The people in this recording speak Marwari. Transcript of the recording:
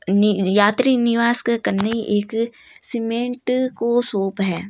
यात्री निवास के कन ही एक सीमेंट का शॉप है।